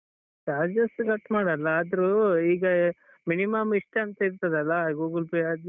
Charges cut ಮಾಡಲ್ಲ ಆದ್ರೂ ಈಗ minimum ಇಷ್ಟೇ ಅಂತ ಇರ್ತದಲ್ಲಾ Google Pay ಆದ್ರೂ Phonepe ಆದ್ರೂ.